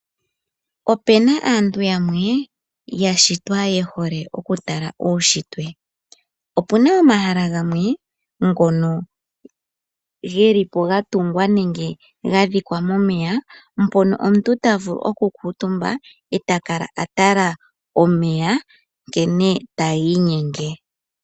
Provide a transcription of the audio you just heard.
Ope na aantu yamwe ya shitwa ye hole okutala uushitwe. Opu na omahala gamwe ngono geli po ga tungwa nenge ga dhikwa momeya, mpono omuntu ta vulu okukutumba e ta kala a tala omeya nkene taga inyenge.